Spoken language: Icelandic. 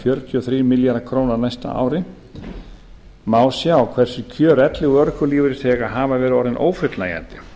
fjörutíu og þrír milljarðar króna á næsta ári má sjá hversu kjör elli og örorkulífeyrisþega hafa verið orðin ófullnægjandi